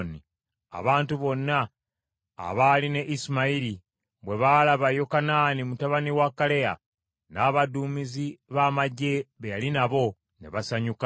Abantu bonna abaali ne Isimayiri bwe baalaba Yokanaani mutabani wa Kaleya n’abaduumizi ba magye be yali nabo, ne basanyuka.